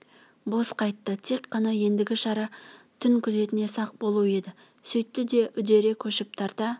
бос қайтты тек қана ендігі шара түн күзетіне сақ болу еді сүйтті де үдере көшіп тарта